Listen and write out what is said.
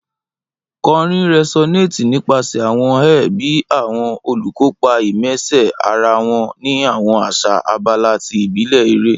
Kọrin resonates nipasẹ awọn air bi awọn olukopa immerse ara wọn ni awọn asa abala ti ibile ere.